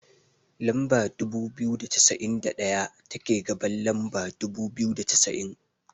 Lamba dubu biyu da cassa'in da daya, take gaban lamba dubu biyu da cassa'in.